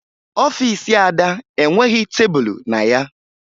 Ọfiisi Ada enweghi tebulu na ya